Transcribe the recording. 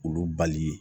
K'olu bali